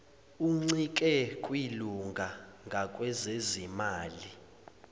uncike kwilunga ngakwezezimali